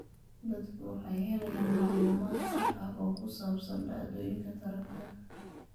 Dadku waxay helayaan macluumaad sax ah oo ku saabsan dhacdooyinka taranka.